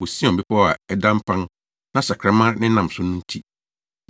wɔ Sion bepɔw a ada mpan na sakraman nenam so no nti.